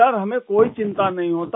sir हमें कोई चिंता नहीं होता